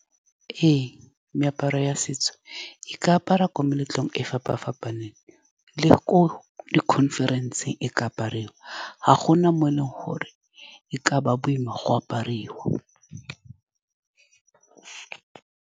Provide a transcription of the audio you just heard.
Ee, meaparo ya setso e ka apariwa ko meletlong e e fapa-fapaneng le ko di-conference-ng. E ka apariwa, ga gona mo e leng gore e ka nna boima go apariwa.